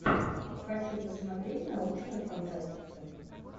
хочу посмотреть научную фантастику